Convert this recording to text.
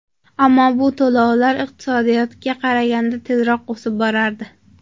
Ammo bu to‘lovlar iqtisodiyotga qaraganda tezroq o‘sib borardi.